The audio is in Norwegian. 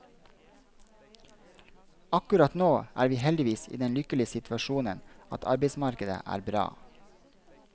Akkurat nå er vi heldigvis i den lykkelige situasjonen at arbeidsmarkedet er bra.